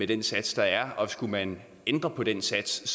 den sats der er og skulle man ændre på den sats